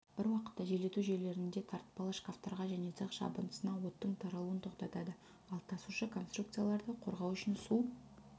бір уақытта желдету жүйелерінде тартпалы шкафтарға және цех жабындысына оттың таралуын тоқтатады ал тасушы конструкцияларды қорғау үшін су